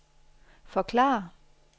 forklare